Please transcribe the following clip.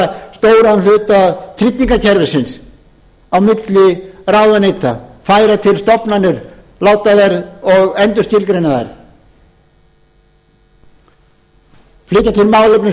stóran hluta tryggingakerfisins á milli ráðuneyta færa til stofnanir og endurskilgreina þær flytja til málefni sveitarstjórna sveitarfélaganna